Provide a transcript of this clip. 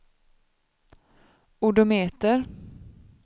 odometer